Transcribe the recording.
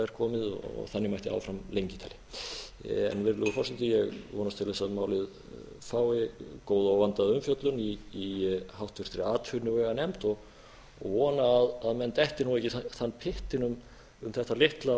er komið þannig mætti áfram lengi telja virðulegur forseti ég vonast til þess að málið fái góða og vandaða umfjöllun í háttvirtri atvinnuveganefnd og vona að menn detti nú ekki í þann pyttinn um þetta litla